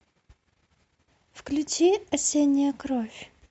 включи осенняя кровь